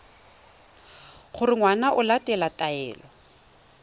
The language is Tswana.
gore ngwana o latela taelo